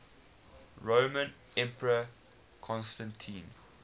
roman emperor constantine